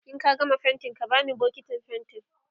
in ka gama faintin ka bani bukitin faintin